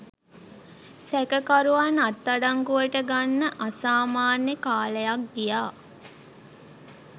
සැකකරුවන් අත්අඩංගුවට ගන්න අසාමාන්‍ය කාලයක් ගියා.